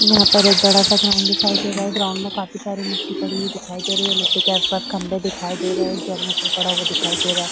यहाँ पर एक बड़ा-सा ग्राउंड दिखाई दे रहा है ग्राउंड में काफी सारी मिट्टी पड़ी हुई दिखाई दे रही है मिट्टी के आस-पास खम्भे दिखाई दे रहे जनरेटर पड़ा हुआ दिखाई दे रहा है।